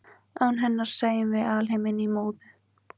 án hennar sæjum við alheiminn í móðu